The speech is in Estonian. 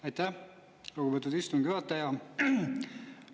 Aitäh, lugupeetud istungi juhataja!